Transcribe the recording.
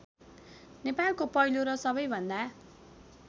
नेपालको पहिलो र सबैभन्दा